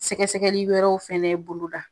Sɛgɛsɛgɛli wɛrɛw fɛn bolo da.